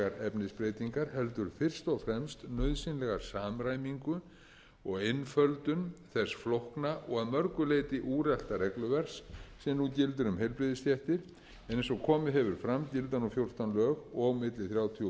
efnisbreytingar heldur fyrst og fremst nauðsynlega samræmingu og einföldun þess flókna og að mörgu leyti úrelta regluverks sem nú gildir um heilbrigðisstéttir en eins og komið hefur fram gilda nú fjórtán lög og milli þrjátíu og fjörutíu reglugerðir